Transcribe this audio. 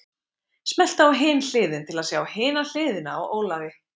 Smelltu á Hin Hliðin til að sjá hina hliðina á Ólafi.